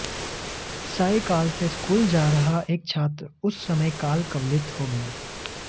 cycle से school जा रहा एक छात्र उस समय काल कवलित हो गया